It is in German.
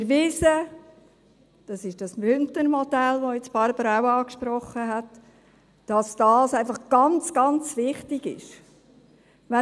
Es ist erwiesen, das ist dieses Bündner Modell, welches Barbara Mühlheim jetzt auch angesprochen hat, einfach ganz, ganz wichtig ist.